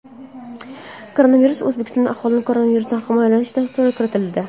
Koronavirus O‘zbekistonda Aholini koronavirusdan himoyalash dasturga kiritildi.